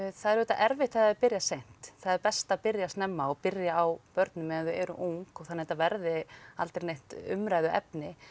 það er auðvitað erfitt ef það byrjar seint það er best að byrja snemma og byrja á börnum meðan þau eru ung þannig að þetta verði aldrei neitt umræðuefni